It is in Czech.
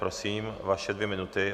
Prosím, vaše dvě minuty.